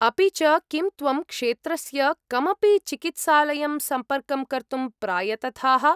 अपि च, किं त्वं क्षेत्रस्य कमपि चिकित्सालयं सम्पर्कं कर्तुं प्रायतथाः?